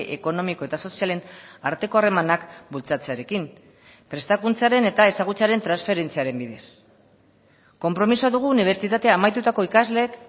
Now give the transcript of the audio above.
ekonomiko eta sozialen arteko harremanak bultzatzearekin prestakuntzaren eta ezagutzaren transferentziaren bidez konpromisoa dugu unibertsitatea amaitutako ikasleek